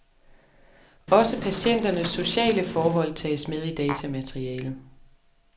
Også patienternes sociale forhold tages med i datamaterialet.